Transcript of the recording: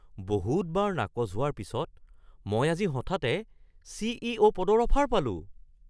বহুতবাৰ নাকচ হোৱাৰ পিছত মই আজি হঠাতে চি.ই.অ.’ পদৰ অফাৰ পালোঁ